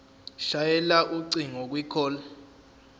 shayela ucingo kwicall